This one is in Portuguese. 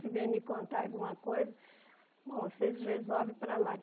Se vêm me contar alguma coisa, bom vocês resolvem para lá.